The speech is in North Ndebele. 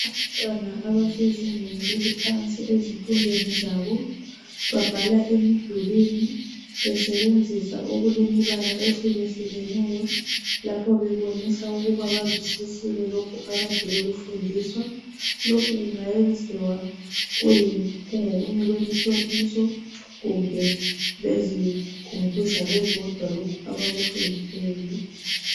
Abantwana abasezingeni eliphansi ezifundweni zabo babhala emidulini besebenzisa okulemibala ehlukehlukeneyo lapho bebonisa ukuba bazwisisile lokhu akade bekufundiswa. Lokhu kungayenziwa kungeyinye yemihloliso kumbe bezikhumbuza bebodwa lokhu abakufundileyo.